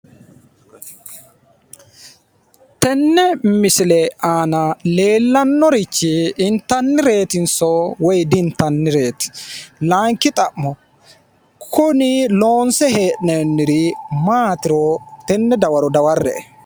Tenne misile aana leelannorichi initannireetiniso woy di"intannireet? Laayinikki xa'mo kuni loonise he'nooniri maatiro I enne dawaro daware'e